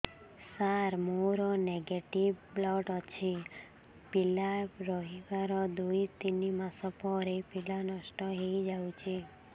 ସାର ମୋର negative blood ଅଛି ପିଲା ରହିବାର ଦୁଇ ତିନି ମାସ ପରେ ପିଲା ନଷ୍ଟ ହେଇ ଯାଉଛି